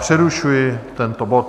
Přerušuji tento bod.